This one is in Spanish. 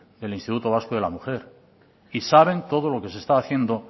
el instituto vasco de la mujer y saben todo lo que se está haciendo